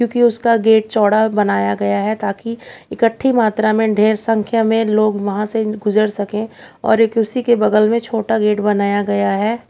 क्योंकि उसका गेट चौड़ा बनाया गया है ताकि इकट्ठी मात्रा में ढेर संख्या में लोग वहां से गुजर सकें और एक उसी के बगल में छोटा गेट बनाया गया है।